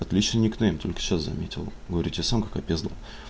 отличный никнейм только сейчас заметил говорю тебе сам как опездал